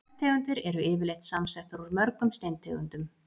Bergtegundir eru yfirleitt samsettar úr mörgum steintegundum.